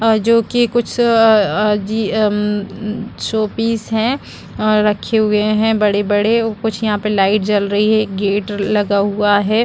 और जो की कुछ अ अजी उम उम शो पीस है और रखे हुए है बड़े-बड़े और कुछ यहाँ पे लाइट जल रही है एक गेट लगा हुआ है।